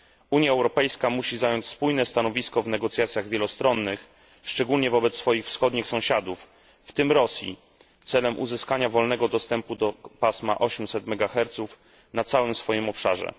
Unia Europejska musi zająć spójne stanowisko w negocjacjach wielostronnych, szczególnie wobec swoich wschodnich sąsiadów, w tym Rosji, celem uzyskania wolnego dostępu do pasma 800 MHz na całym swoim obszarze.